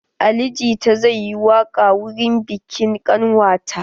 Ali jita zai yi waƙa wurin biƙin ƙanwata.